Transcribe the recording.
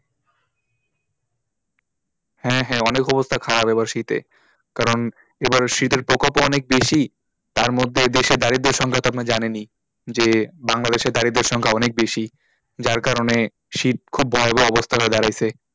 হ্যাঁ হ্যাঁ অনেক অবস্থা খারাপ এবার শীতে কারণ এবারে শীতের প্রকোপ ও অনেক বেশি তার মধ্যে দেশে দারিদ্র সংখ্যা তো আপনি জানেনই যে বাংলাদেশে দারিদ্রের সংখ্যা অনেক বেশি যার কারণে শীত খুব ভয়াবহ অবস্থা হয়ে দাড়িয়েছে,